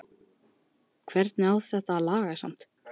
Meðan sundurþykkar hugrenningar voru að togast á um mig hafði